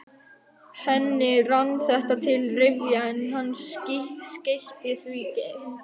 Henni rann þetta til rifja, en hann skeytti því engu.